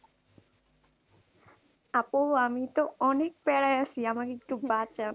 আপু আমি তো অনেক পেরাই আছি, আমাকে একটু বাঁচাও।